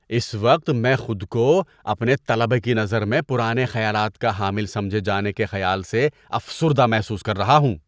اس وقت میں خود کو اپنے طلبہ کی نظر میں پرانے خیالات کا حامل سمجھے جانے کے خیال سے افسردہ محسوس کر رہا ہوں۔